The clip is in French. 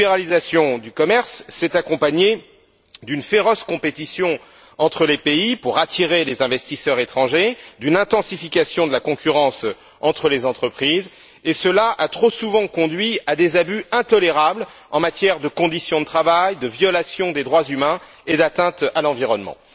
La libéralisation du commerce s'est accompagnée d'une féroce compétition entre les pays pour attirer les investisseurs étrangers et d'une intensification de la concurrence entre les entreprises, et cela a trop souvent conduit à des abus intolérables en matière de conditions de travail, de violation des droits humains et d'atteinte à l'environnement.